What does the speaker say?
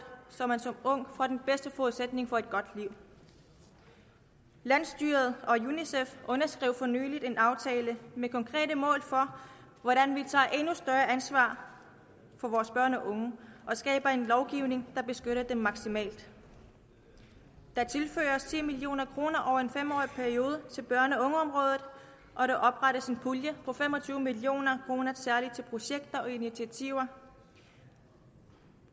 så man som ung får den bedste forudsætning for et godt liv landsstyret og unicef underskrev for nylig en aftale med konkrete mål for hvordan vi tager endnu større ansvar for vores børn og unge og skaber en lovgivning der beskytter dem maksimalt der tilføres ti million kroner over en fem årig periode til børne og ungeområdet og der oprettes en pulje på fem og tyve million kroner særligt til projekter og initiativer